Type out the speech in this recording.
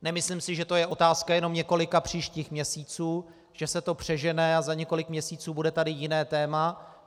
Nemyslím si, že to je otázka jenom několika příštích měsíců, že se to přežene a za několik měsíců bude tady jiné téma.